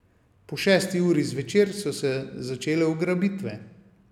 Po šesti uri zvečer so se začele ugrabitve.